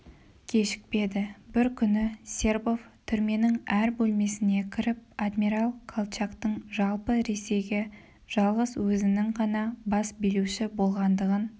кешікпеді бір күні сербов түрменің әр бөлмесіне кіріп адмирал колчактың жалпы ресейге жалғыз өзінін ғана бас билеуші болғандығын